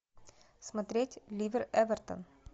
смотреть ливер эвертон